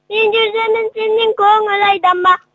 мен жердемін сенің көңілің айда ма